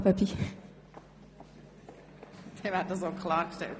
Damit ist auch das klargestellt.